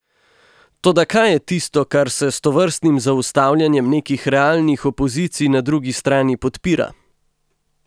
Toda kaj je tisto, kar se s tovrstnim zaustavljanjem nekih realnih opozicij na drugi strani podpira?